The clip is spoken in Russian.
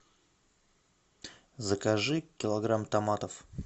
закажи килограмм томатов